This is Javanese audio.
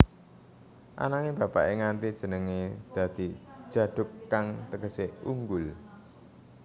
Ananging bapaké ngganti jenengé dadi Djaduk kang tegesé unggul